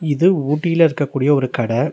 இது ஊட்டில இருக்கக்கூடிய ஒரு கட.